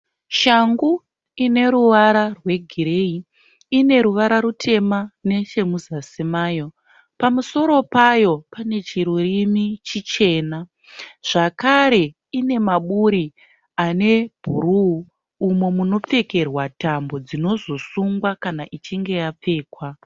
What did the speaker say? Shangu ine ruvara rwegireyi. Ine ruvara rutema nechemuzasi mayo. Pamusoro payo pane chirurimi chichena. Zvakare ine maburi ane bhuruu umo munopfekerwa tambo dzinozosungwa kana ichinge yapfekwa.